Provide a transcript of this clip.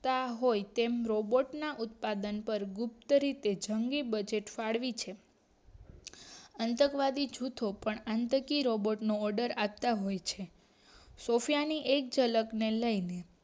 આવતા હોય તેમ રોબોર્ટ ના ઉત્પાદન પર ગુપ્ત રીતે ઝંગી બજેટ ફાળવી છે આતંકવાદી જૂથો પણ આંતકીય રોબોર્ટ નો order આપતા હોય છે સૉફયાની એક ઝલક ને લઈને